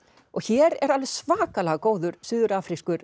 og hér er alveg svakalega góður suður